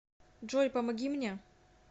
джой помоги мне